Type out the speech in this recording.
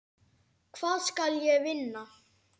Hvað skal ég vinna?